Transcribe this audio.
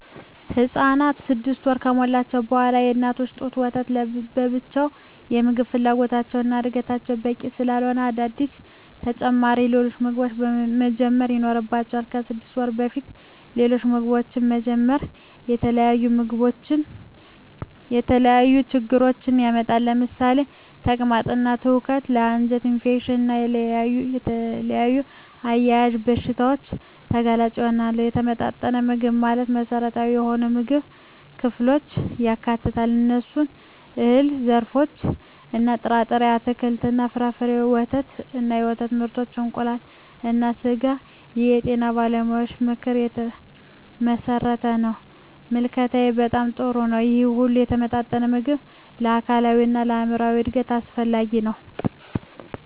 ህፃናት 6 ወር ከሞላቸው በዋላ የእናት ጡት ወተት ለብቻው የምግብ ፍላጎታቸውን እና ለዕድገታቸው በቂ ስላለሆነ አዳዲስ ተጨማሪ ሌሎች ምግቦችን መጀመር ይኖርባቸዋል። ከ6 ወር በፊት ሌሎች ምግቦችን መጀመር የተለያዩ ችግሮችን ያመጣል ለምሳሌ ተቅማጥ እና ትውከት ለ አንጀት ኢንፌክሽን እና ሌሎች ተያያዝ በሺታዎች ተጋላጭ ይሆናሉ። የተመጣጠነ ምግብ ማለት መሰረታዊ የሆኑ የምግብ ክፍሎችን ያካትታል። እነሱም፦ የእህል ዘርሮች እና ጥርጣሬ፣ አትክልት እና ፍራፍሬ፣ ወተት እና የወተት ምርቶች፣ እንቁላል እና ስጋ ይህ የጤና ባለሙያዎች ምክር የተመሠረተ ነው። ምልከታዬ በጣም ጥሩ ነው ይህ ሁሉ የተመጣጠነ ምግብ ለአካላዊ እና ለአይምራዊ እድገት አስፈላጊ ነው።